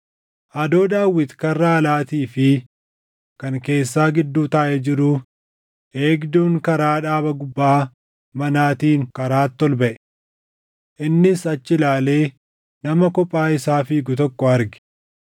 Adoo Daawit karra alaatii fi kan keessaa gidduu taaʼee jiruu eegduun karaa dhaaba gubbaa manaatiin karaatti ol baʼe. Innis achi ilaalee nama kophaa isaa fiigu tokko arge.